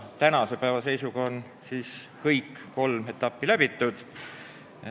Tänase päeva seisuga on kõik kolm etappi läbitud.